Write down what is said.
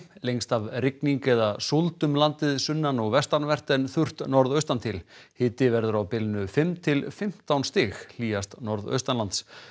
lengst af rigning eða súld um landið sunnan og vestanvert en þurrt norðaustan til hiti verður á bilinu fimm til fimmtán stig hlýjast norðaustanlands